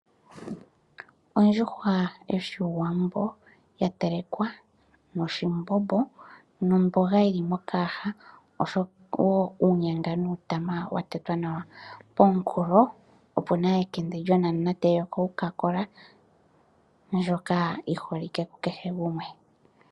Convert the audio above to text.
Ondjuhwa yoshiwambo, ya telekwa noshimbombo nomboga yili mokayaha noshowo uunyanga nuutama wa tetwa nawa. Pomunkulo opu na ekende lyonamunate yoCaCola ndjoka yi holike ku kehe gumwe.